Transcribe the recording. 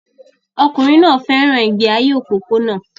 Ọkùnrin náà fẹ́ràn ìgbé ayé òpópónà